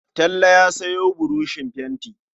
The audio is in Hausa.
Talle ya sayo buroshin fenti.